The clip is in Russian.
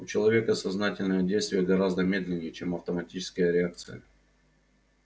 у человека сознательное действие гораздо медленнее чем автоматическая реакция